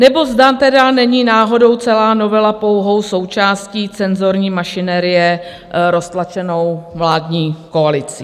Nebo zda tedy není náhodou celá novela pouhou součástí cenzurní mašinérie roztlačenou vládní koalicí?